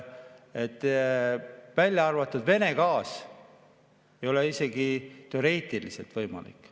Kui välja arvata Vene gaas, siis ei ole see isegi teoreetiliselt võimalik.